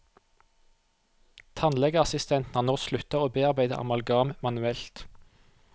Tannlegeassistentene har nå sluttet å bearbeide amalgam manuelt.